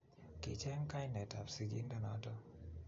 Kicheng kainetab sigindonoto